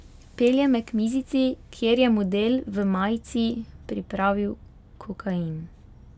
Pelje me k mizici, kjer je model v majici pripravil kokain.